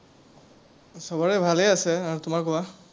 সবৰে ভালেই আছে, আহ তোমাৰ কোৱা?